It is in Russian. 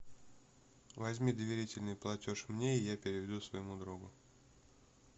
возьми доверительный платеж мне и я переведу своему другу